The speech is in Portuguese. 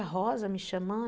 A Rosa me chamando?